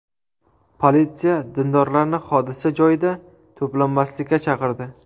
Politsiya dindorlarni hodisa joyida to‘planmaslikka chaqirdi.